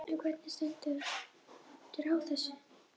En hvernig stendur á þessu?